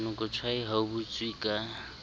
monokotshwai ha o butswe ka